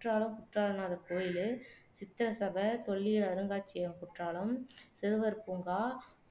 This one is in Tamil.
குற்றாலம் குற்றாலநாதர் கோயில் சித்திர சபை தொல்லியல் அருங்காட்சியகம் குற்றாலம் சிறுவர் பூங்கா